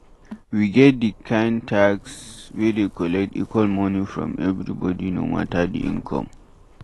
We get di kind tax wey dey collect equal money from every body no matter di income